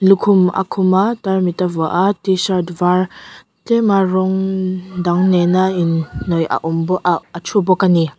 lukhum a khum a tarmit a vuah a tshirt var tlema rawng dang nena inhnaih a awm aah a thu bawk a ni.